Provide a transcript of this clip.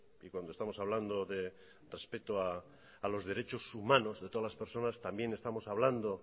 y cuando estamos hablando de respeto a los derechos humanos de todas las personas también estamos hablando